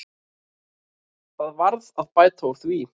Það varð að bæta úr því.